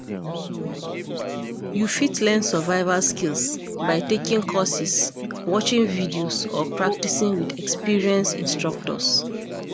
You fit learn survival skills by taking courses, watching videos, or practicing with experienced instructors.